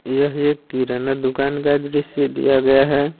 यह एक किराना दुकान का दृश्य दिया गया है।